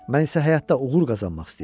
Mən isə həyatda uğur qazanmaq istəyirəm.